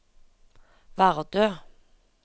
Vardø